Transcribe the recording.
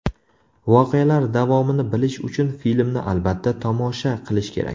Voqealar davomini bilish uchun filmni albatta, tomosha qilish kerak.